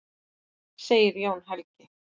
Segir Jón Helgi.